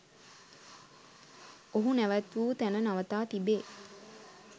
ඔහු නැවැත් වූ තැන නවතා තිබේ